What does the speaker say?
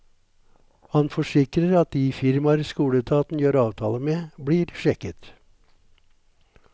Han forsikrer at de firmaer skoleetaten gjør avtaler med, blir sjekket.